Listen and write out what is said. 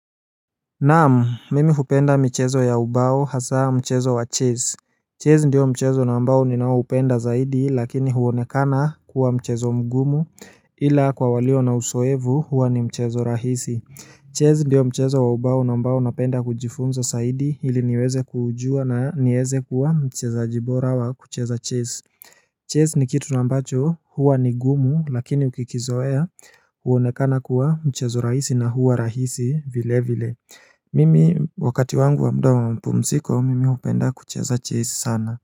Naam, mimi kupenda michezo ya ubao hasaa mchezo wa Chess. Chess ndiyo mchezo ambao ninao upenda zaidi lakini huonekana kuwa mchezo mngumu ila kwa walio na usoevu huwa ni mchezo rahisi Chess ndiyo mchezo wa ubao na ambao napenda kujifunza saidi ili niweze kuujua na nieze kuwa mchezaaji bora wa kucheza Chess Chess ni kitu na ambacho huwa ni ngumu lakini ukikizoea huonekana kuwa mchezo rahisi na huwa rahisi vile vile Mimi wakati wangu wa mda wa mpumziko, mimi hupenda kucheza Chess sana.